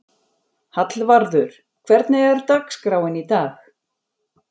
Hallvarður, hvernig er dagskráin í dag?